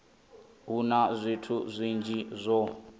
hu na zwithu zwinzhi zwo